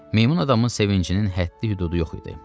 Meymun adamın sevincinin həddi-hüdudu yox idi.